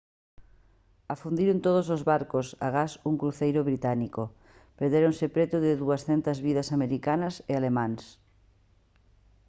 afundiron todos os barcos agás un cruceiro británico perdéronse preto de 200 vidas americanas e alemás